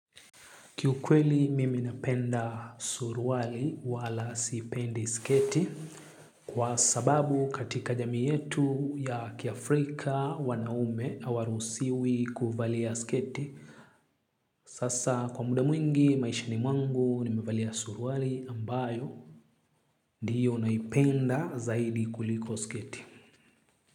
Kikwele mimi napenda suruali wala sipendi sketi, kwa sababu katika jamii yetu ya kiafrika wanaume hawaruhusiwi kuvalia sketi. Sasa kwa muda mwingi maishani mwangu mimi navalia suruali ambayo. Ndiyo naipenda zaidi kuliko sketi.